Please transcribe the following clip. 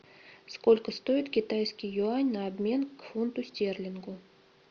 сколько стоит китайский юань на обмен к фунту стерлингу